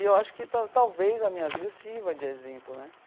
E eu acho que tal talvez a minha vida sirva de exemplo, né?